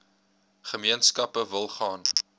gemeenskappe wil gaan